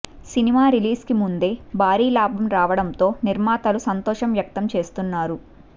cinema release కు ముందే భారీ లాభం రావడంతో నిర్మాతలు సంతోషం వ్యక్తం చేస్తున్నారు